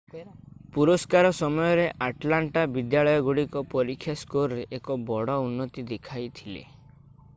ପୁରସ୍କାର ସମୟରେ ଆଟଲାଣ୍ଟା ବିଦ୍ୟାଳୟଗୁଡ଼ିକ ପରୀକ୍ଷା ସ୍କୋରରେ ଏକ ବଡ଼ ଉନ୍ନତି ଦେଖିଥିଲେ